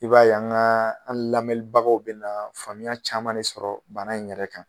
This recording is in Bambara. I b'a ye an lamɛnibagaw bɛna na faamuya caman de sɔrɔ banna in yɛrɛ kan